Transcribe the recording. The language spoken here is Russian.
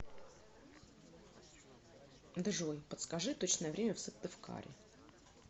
джой подскажи точное время в сыктывкаре